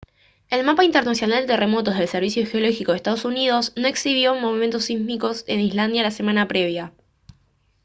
el mapa internacional de terremotos del servicio geológico de ee uu no exhibió movimientos sísmicos en islandia la semana previa